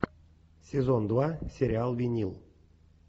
сезон два сериал винил